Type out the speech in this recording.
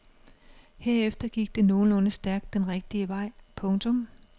Herefter gik det nogenlunde stærkt den rigtige vej. punktum